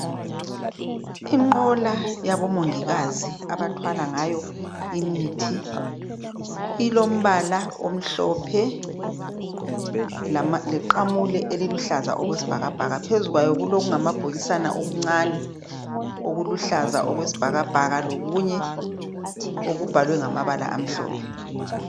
Inqola yabomongikazi abathwala ngayo imithi ilombala omhlophe leqamula eliluhlaza okwesibhakabhaka phezu kwayo kulokungamabhokisana okuncane okuluhlaza okwesibhakabhaka lokunye okubhalwe ngamabala amhlophe.